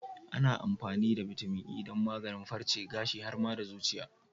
Ana amfani da bitamin E don maganin farce, gashi, har ma da zuciya.